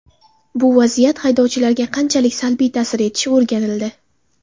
Bu vaziyat haydovchilarga qanchalik salbiy ta’sir etishi o‘rganildi.